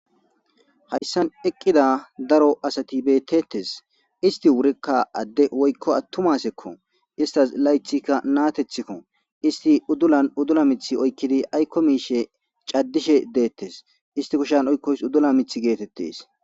hayssan eqqida daro asati beetettes isti wurikka adde woykko attumasekko istas laythikka naatethikko isti uddulan uddula mithi oykkidi aykko miishe caddishe deettes isti kushan oykkoys uddula mith geetettees